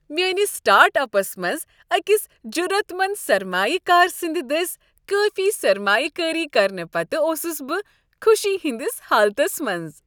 میٲنس startups منٛز أکس جرعت منٛد سرمایہ كار سٕنٛد دٔسۍ کٲفی سرمایہ کٲری کرنہٕ پتہٕ اوسس بہٕ خوشی ہٕنٛدس حالتس منٛز۔